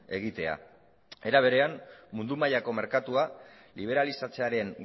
egitea era berean mundu mailako merkatua liberalizatzearen